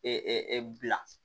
bila